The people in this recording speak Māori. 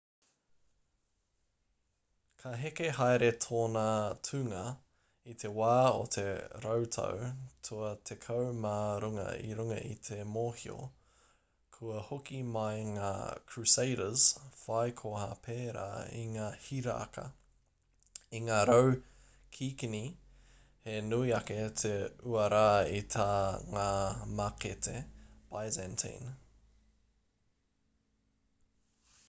ka heke haere tōna tūnga i te wā o te rautau tua tekau mā rua i runga i te mōhio kua hoki mai ngā crusaders whai koha pērā i ngā hiraka i ngā rau kikini he nui ake te uara i tā ngā mākete byzantine